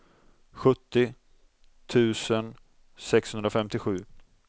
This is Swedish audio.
sjuttio tusen sexhundrafemtiosju